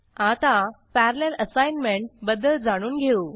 आता parallel assignment बद्दल जाणून घेऊ